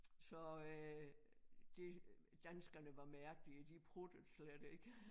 Så øh de danskerne var mærkelige de pruttede slet ikke